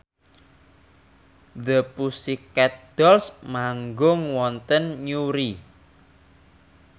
The Pussycat Dolls manggung wonten Newry